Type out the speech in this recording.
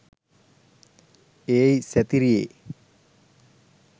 ඒයි සැතිරියෙ